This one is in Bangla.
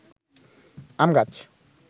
আম গাছ